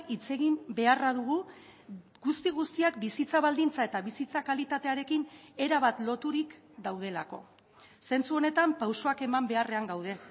hitz egin beharra dugu guzti guztiak bizitza baldintza eta bizitza kalitatearekin erabat loturik daudelako zentzu honetan pausoak eman beharrean gaude